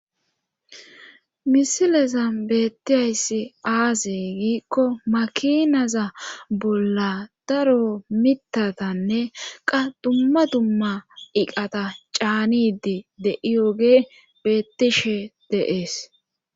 misilezan beettiyayssi aaze giikko makinaza bolla daro mitatanne qa dumma dumma iqata caanidi yediyogey beettishe dees.